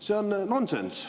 See on nonsenss.